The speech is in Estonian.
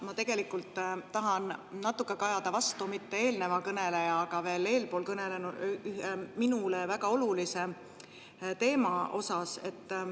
Ma tegelikult tahan natuke kajada vastu mitte eelneva kõneleja, vaid veel eespool minule väga olulise teema kohta.